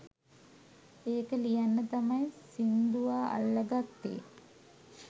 ඒක ලියන්න තමයි සිංදුවා අල්ලගත්තේ